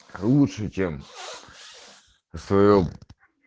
лучше чем в своём